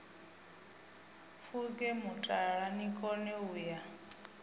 pfuke mutala nikone u ya